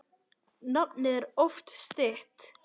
Nafnið er oft stytt.